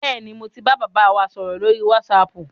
Bẹ́ẹ̀ni, mo ti ń bá bàbá wa sọ̀rọ̀ lórí wásaapù.